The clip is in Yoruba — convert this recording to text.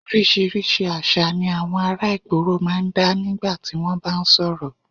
Oríṣiríṣi àṣà ni àwọn ará ìgboro máa ń dá nígbà tí wọ́n bá ń sọ̀rọ̀